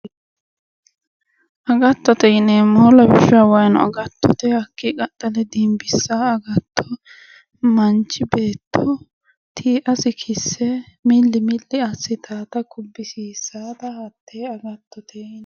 Agattote yineemmohu lawishshaho waayiino agattote hakkii qaxxale dimbisaa agatto manchi beetto tiiasi kisse milli milli assitaata kubbisiisaata hattee agattote yineemmo.